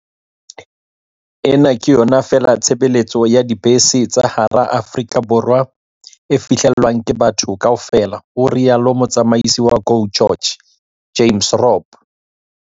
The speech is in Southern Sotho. "Ena ke yona feela tshebeletso ya dibese ka hara Aforika Borwa e fihlellwang ke batho kaofela," ho ile ha rialo motsamisi wa GO GEORGE James Robb.